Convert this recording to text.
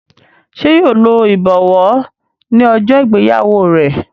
ṣe yíò ló ibọwọ ní ojó ìgbéyàwó rẹ?